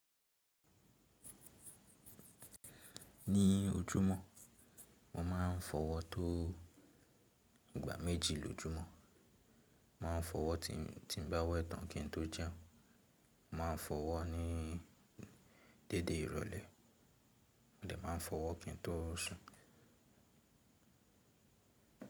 Ní ojúmọ̀, mo máa ń fọwọ́ tó ìgbà méjì lójúmọ́. Máa ń fọwọ́ tí n tí n bá wẹ̀ tán kí n tó jẹun. Máa fọwọ́ ní dédé ìrọ̀lẹ́, mo dẹ máa fọwọ́ kí n tó sùn.